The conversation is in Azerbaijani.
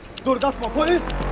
Dur qaçma, polis!